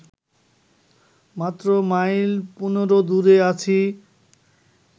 মাত্র মাইল পনেরো দূরে আছি